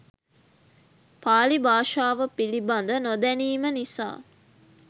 පාලි භාෂාව පිළිබඳ නොදැනීම නිසා